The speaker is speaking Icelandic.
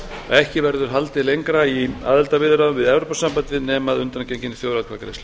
ekki verði haldið lengra í aðildarviðræðum við evrópusambandið nema að undangenginni þjóðaratkvæðagreiðslu